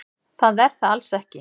Það er það alls ekki.